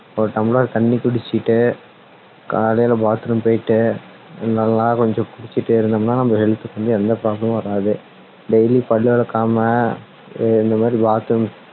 ஒரு tumbler தண்ணி குடிச்சிட்டு காலைல bathroom போயிட்டு நல்லா கொஞ்சம் குளிச்சிட்டு இருந்தோம்னா நம்ம health க்கு வந்து எந்த problem மும் வராது daily பல்லு விளக்காம இந்த மாதிரி bathroom